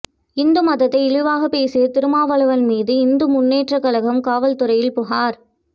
இந்து மதத்தை இழிவாக பேசிய திருமாவளவன் மீது இந்து முன்னேற்ற கழகம் காவல்துறையில் புகாா்